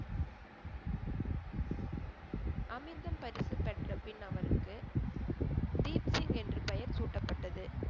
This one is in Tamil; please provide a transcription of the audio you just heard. அமிர்தம் பரிசு பெற்ற பின் அவருக்கு தீப் சிங் என்று பெயர் சூட்டப்பட்டது